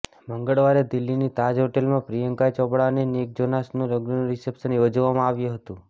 મંગળવારે દિલ્હીની તાજ હોટેલમાં પ્રિયંકા ચોપડા અને નિક જોનાસના લગ્નનું રિસેપ્શન યોજવામાં આવ્યું હતું